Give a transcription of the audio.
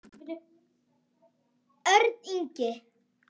Hönnun: Örn Ingi.